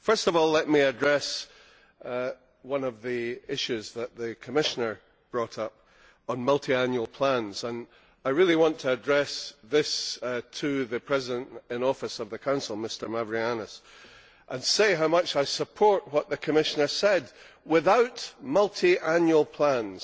First of all, let me address one of the issues that the Commissioner brought up on multiannual plans, and I really want to address this to the President in Office of the Council, Mr Mavroyiannis, and say how much I support what the Commissioner said without multiannual plans,